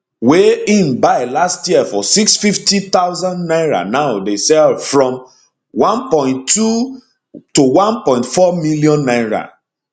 wey im buy last year for 650000 naira now dey sell from twelve 14 million naira